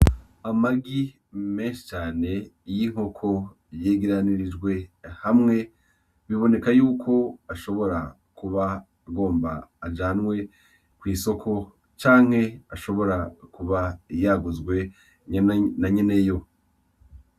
Amagi menshi cane y'inkoko yegeranirijwe hamwe, biboneka yuko ashobora kuba agomba ajanwe kw'isoko canke ashobora kuba yaguzwe na nyene yo.